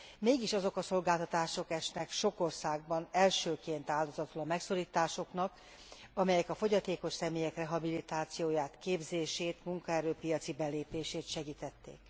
mégis azok a szolgáltatások esnek sok országban elsőként áldozatul a megszorításoknak, amelyek a fogyatékos személyek rehabilitációját, képzését, munkaerő piaci belépését segítették.